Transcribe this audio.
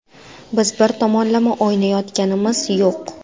Biz bir tomonlama o‘ylayotganimiz yo‘q.